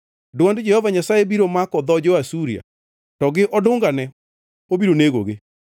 Dwond Jehova Nyasaye biro mako dho jo-Asuria; to gi odungane obiro negogi.